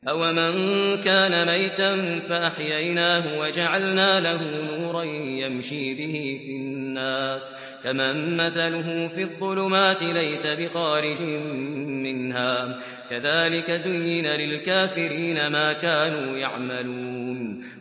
أَوَمَن كَانَ مَيْتًا فَأَحْيَيْنَاهُ وَجَعَلْنَا لَهُ نُورًا يَمْشِي بِهِ فِي النَّاسِ كَمَن مَّثَلُهُ فِي الظُّلُمَاتِ لَيْسَ بِخَارِجٍ مِّنْهَا ۚ كَذَٰلِكَ زُيِّنَ لِلْكَافِرِينَ مَا كَانُوا يَعْمَلُونَ